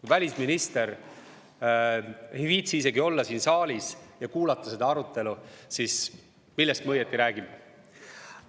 Kui välisminister ei viitsi isegi olla siin saalis ja kuulata seda arutelu, siis millest me õieti räägime?